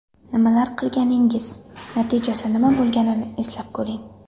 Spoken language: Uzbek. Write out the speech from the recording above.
Nimalar qilganingiz, natijasi nima bo‘lganini eslab ko‘ring.